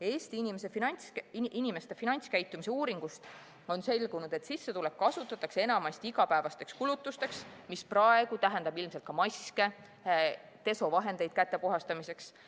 Eesti inimeste finantskäitumise uuringust on selgunud, et sissetulek kasutatakse enamasti igapäevasteks kulutusteks, mis praegu tähendab ilmselt ka maske ja desovahendeid käte puhastamiseks.